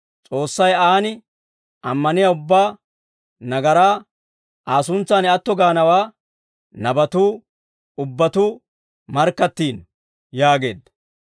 S'oossay aan ammaniyaa ubbaa nagaraa Aa suntsan atto gaanawaa nabatuu ubbatuu markkattiino» yaageedda.